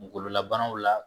Kungololabanaw la